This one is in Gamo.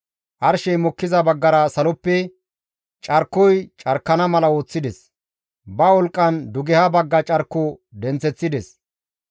Arshey mokkiza baggara saloppe carkoy carkana mala ooththides; ba wolqqan dugeha bagga carko denththeththides.